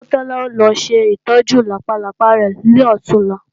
Ọmọ Tọ́lá ó lọ ṣètọ́jú làpálápá rẹ̀ lọ̀túnla